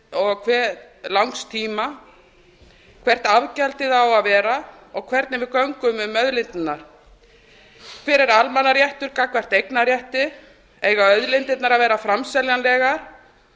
og til hve langs tíma hvert afgjaldið á að vera og hvernig við göngum um auðlindirnar hver er almannaréttur gagnvart eignarrétti eiga auðlindirnar að vera framseljanlegar